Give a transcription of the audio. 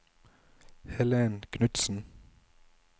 Helen Knudsen